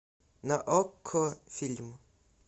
на окко фильм